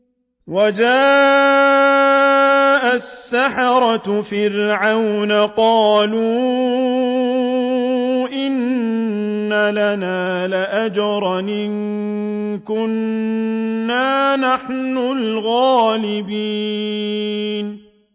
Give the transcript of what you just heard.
وَجَاءَ السَّحَرَةُ فِرْعَوْنَ قَالُوا إِنَّ لَنَا لَأَجْرًا إِن كُنَّا نَحْنُ الْغَالِبِينَ